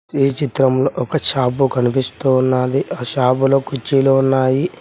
ఈ చిత్రంలో ఒక షాపు కనిపిస్తూ ఉన్నాది ఆ షాపులో కుర్చీలు ఉన్నాయి.